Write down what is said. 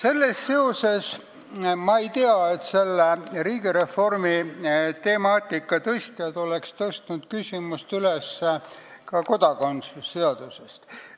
Ma küll ei tea, et selle riigireformi temaatika tõstatajad oleks tõstnud üles kodakondsuse seaduse küsimust.